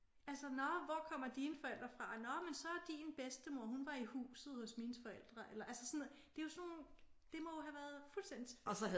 Altså nå hvor kommer dine forældre fra? Nå men så din bedstemor hun var i huset hos mine forældre. Eller altså sådan noget. Det er jo sådan nogle det må have været fuldstændigt tilfældigt